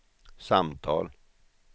samtal